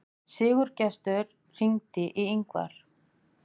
Sigurgestur, hringdu í Yngvar.